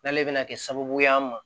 N'ale bɛna kɛ sababu ye an ma